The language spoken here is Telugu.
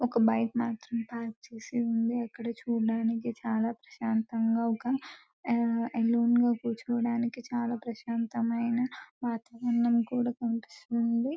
ఒక బైక్ మాత్రం పార్క్ చేసి ఉన్నది అక్కడ చూడడానికి చాలా ప్రశాంతంగా ఒక అలొనె గ కూర్చోడానికి చాలా ప్రశాంతమైన వాతావరణం కూడా కనిపిస్తుంది .